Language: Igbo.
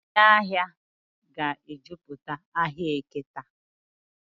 Ndị ahịa ga-ejupụta ahịa Eke taa.